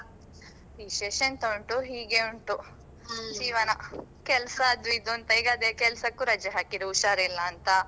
ವಿಶೇಷ ಎಂತ ಉಂಟು, ಹೀಗೆ ಉಂಟು. ಜೀವನ. ಕೆಲ್ಸಾ ಅದು ಇದು ಅಂತ ಈಗ ಅದೇ ಕೆಲ್ಸಕ್ಕೂ ರಾಜೆ ಹಾಕಿದೆ ಹುಷಾರಿಲ್ಲ ಅಂತ.